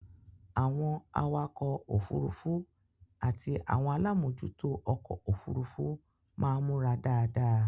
Àwọn awakọ òfurufú àti àwọn alámòjútó ọkọ-òfurufú máa ń múra dáadáa.